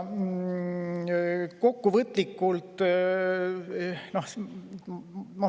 Kokkuvõtlikult.